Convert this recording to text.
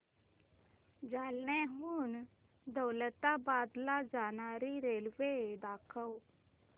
जालन्याहून दौलताबाद ला जाणारी रेल्वे दाखव